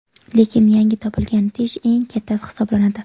Lekin yangi topilgan tish eng kattasi hisoblanadi.